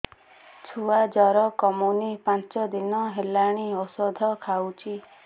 ଛୁଆ ଜର କମୁନି ପାଞ୍ଚ ଦିନ ହେଲାଣି ଔଷଧ ଖାଉଛି